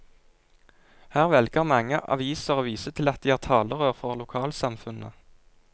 Her velger mange aviser å vise til at de er talerør for lokalsamfunnet.